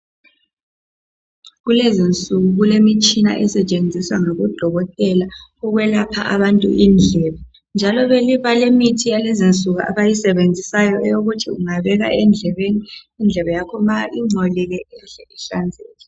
Kulezinsuku kulemitshina esetshenziswa ngoDokotela ukwelapha abantu indlebe njalo balemithi abayisebenzisayo eyokuthi ungayifaka endlebeni nxa ingcolile ihle ihlanzeke.